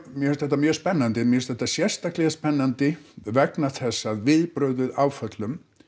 mér finnst þetta mjög spennandi mér finnst þetta sérstaklega spennandi vegna þess að viðbrögð við áföllum